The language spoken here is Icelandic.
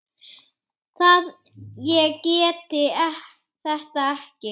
að ég geti þetta ekki.